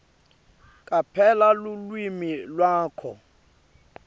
caphela lulwimi lwakho